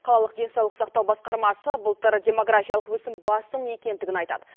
қалалық денсаулық сақтау басқармасы былтыр демографиялық өсім басым екендігін айтады